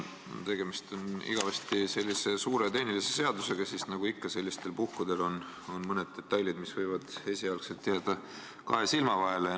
Kuna tegemist on igavesti suure tehnilise seadusega, siis nagu ikka sellistel puhkudel on mõned detailid, mis on võinud esialgu jääda kahe silma vahele.